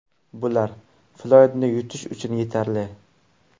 Bular Floydni yutish uchun yetarli.